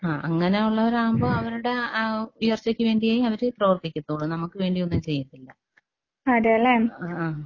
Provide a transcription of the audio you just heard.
ആഹ് അങ്ങനെയുള്ളവരാവുമ്പോ അവരുടെ ആ ഉയർച്ചയ്ക്ക് വേണ്ടിയെ അവര് പ്രവർത്തിക്കത്തൊള്ളൂ നമുക്ക് വേണ്ടി ഒന്നും ചെയ്യത്തില്ല.